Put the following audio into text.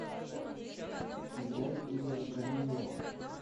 играй игоря корнилова